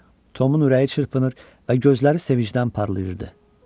Tomun ürəyi çırpınır və gözləri sevincdən parlayırdı.